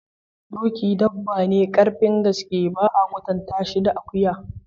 Doki dabba ne karfin gaske, ba a kwatanta shi da akuya.